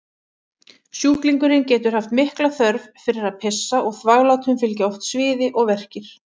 Sjúklingurinn getur haft mikla þörf fyrir að pissa og þvaglátum fylgja oft sviði og verkir.